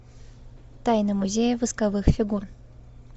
тайна музея восковых фигур